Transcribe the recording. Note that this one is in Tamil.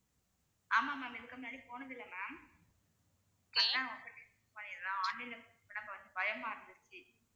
ஆமா ma'am இதுக்கு முன்னாடி போனதில்லை ma'am அதான் online ல book பண்ண கொஞ்சம் பயமா இருந்துச்சு